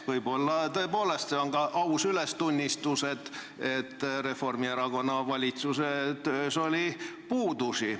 Võib-olla on see tõepoolest ka aus ülestunnistus, et Reformierakonna valitsuse töös oli puudusi.